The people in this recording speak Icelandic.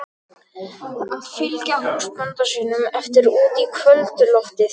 Að fylgja húsbónda sínum eftir út í kvöldloftið.